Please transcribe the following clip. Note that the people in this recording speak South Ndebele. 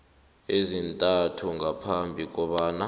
ezintathu ngaphambi kobana